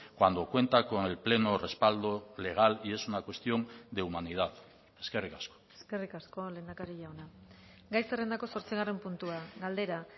cuando cuenta con el pleno respaldo legal y es una cuestión de humanidad eskerrik asko eskerrik asko lehendakari jauna gai zerrendako zortzigarren puntua galdera